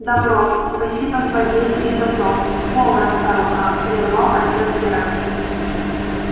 добро спасибо злодею и за то полно старуха прервал отец герасим